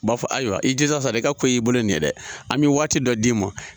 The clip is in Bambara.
U b'a fɔ ayiwa i jija sa dɛ, i ka ko y'i bolo nin ye dɛ, an bi waati dɔ d'i ma.